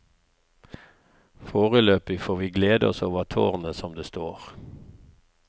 Foreløpig får vi glede oss over tårnet som det står.